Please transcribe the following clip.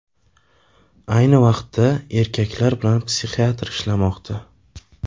Ayni paytda erkak bilan psixiatr ishlamoqda.